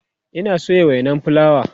Ina soya wainan fulawa